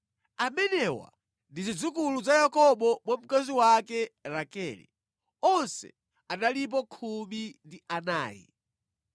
Amenewa ndi zidzukulu za Yakobo mwa mkazi wake Rakele. Onse analipo khumi ndi anayi.